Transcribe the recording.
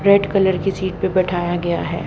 Red colour की seat पे बैठाया गया है।